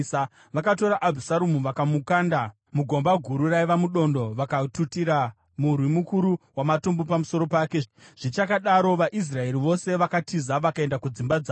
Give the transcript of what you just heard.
Vakatora Abhusaromu vakamukanda mugomba guru raiva mudondo vakatutira murwi mukuru wamatombo pamusoro pake. Zvichakadaro, vaIsraeri vose vakatiza vakaenda kudzimba dzavo.